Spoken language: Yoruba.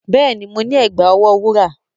Yes, I have a golden bracelet